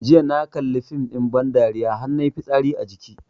Jiya na kalli fim ɗin ban dariya har nayi fitsari a jiki